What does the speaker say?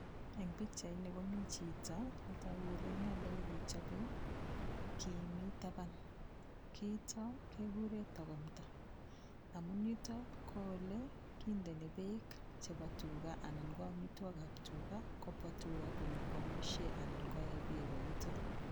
Eng' pikchaini komi chito netoku kole inendet nekichobei kii mi taban kiito kekure tokomta amun yuto ko ole kindeni beek chebo tuga anan ko omitwokikab tuga kobwa tuga konyokwomishe anan ko ee beko yuto